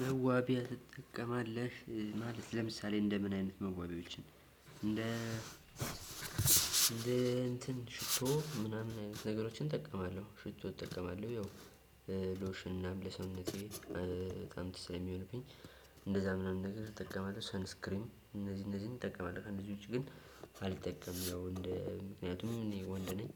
መዋቢያ ትጠቀማለሽ ማለት ለምሳሌ እንደምን አይነት መዋቢያዎችን እንደ እንደ እንትን ሽቶ ምናምን አይነት ነገሮችን እጠቀማለሁ ሽቶ እጠቀማለሁ። ያው ሎሽን ምናምን ለሰውነቴ እንትን ስለሚሆንብኝ። አንደዛ ምናምን ነገሮች እጠቀምቅለ ሰን አስክሪም አነዚህ አነዚህን ነገሮችን እጠቀማለሁ። ከነዚህ ውጭ ግን አልጠቀምም። ያው እንደ ምክንያቱም ወንድ ነኝ